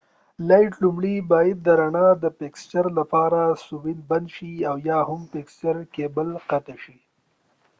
لومړۍ باید د رڼا د فیکسچرlight fixture لپاره سويچ بند شي او یا هم کېبل قطع شي